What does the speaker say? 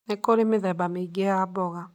Nĩ kũrĩ mĩthemba mĩingĩ ya mboga.